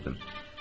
Cavab verdim.